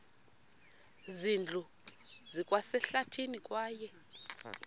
zindlu zikwasehlathini kwaye